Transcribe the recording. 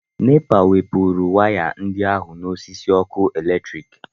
NEPA wepụrụ waya ndị ahụ n'osisi ọkụ eletrik